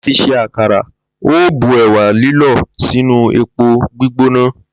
Láti s̩e àkàrà, o óò bu è̩wà lílò̩ sínú epo gbígbóná